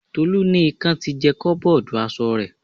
Tolu ní ikan ti jẹ koboodu aṣọ rẹ̀.